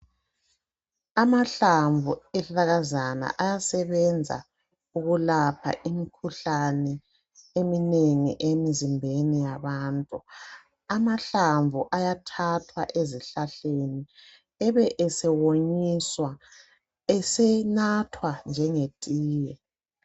amahlamvu ezihlahlakazana ayasebenza ukulapha imikhuhlane eminengi emizimbeni yabantu amahlamvu ayathathwa aezihlahleni ebe esewonyiswa esenathwa njenge tiye